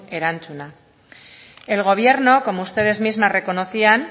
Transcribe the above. erantzuna el gobierno como ustedes mismas reconocían